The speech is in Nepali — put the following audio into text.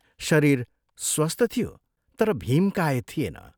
शरीर स्वस्थ थियो तर भीमकाय थिएन।